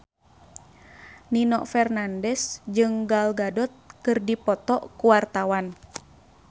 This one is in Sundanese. Nino Fernandez jeung Gal Gadot keur dipoto ku wartawan